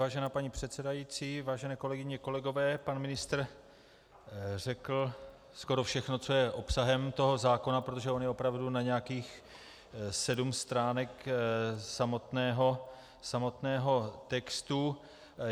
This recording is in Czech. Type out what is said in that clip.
Vážená paní předsedající, vážené kolegyně, kolegové, pan ministr řekl skoro všechno, co je obsahem toho zákona, protože on je opravdu na nějakých sedm stránek samotného textu.